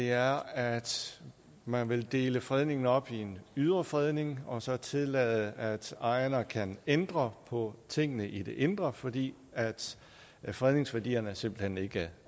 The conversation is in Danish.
er at man vil dele fredningen op i en ydre fredning og så tillade at ejerne kan ændre på tingene i det indre fordi fredningsværdierne simpelt hen ikke